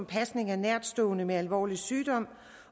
pasning af nærtstående med alvorlig sygdom